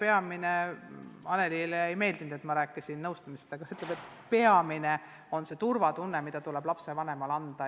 Annelyle ei meeldinud, et ma rääkisin nõustamisest, aga mu tädi ütleb, et peamine on turvatunne, mis tuleb lapsevanemale anda.